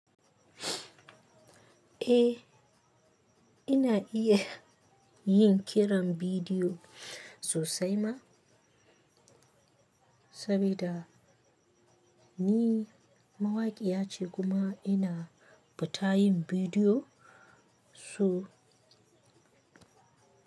Eh, ina iyayin kiran bidiyo sosai ma, sabida ni mawaƙiyace kuma ina fita yin bidiyo so.